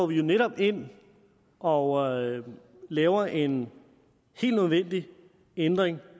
vi jo netop ind og laver en helt nødvendig ændring